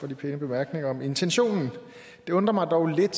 de pæne bemærkninger om intentionen det undrer mig dog lidt